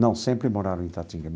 Não, sempre moraram em Itatinga.